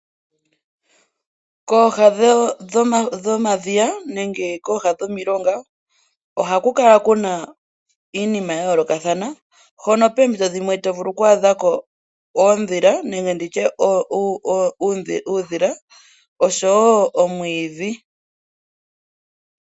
Kooha dhomadhiya nenge kooha dhomilonga , ohaku kala kuna iinima yayoolokathana , hono poompito dhimwe to vulu okwaadha po oondhila nenge uudhila oshowoo omwiidhi.